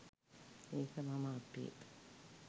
ඒක මම අපේ.